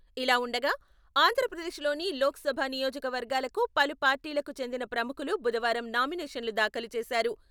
ఇలావుండగా, ఆంధ్రప్రదేశ్లోని లోక్సభ నియోజక వర్గాలకు పలు పార్టీలకు చెందిన ప్రముఖులు బుధవారం నామినేషన్లు దాఖలు చేశారు.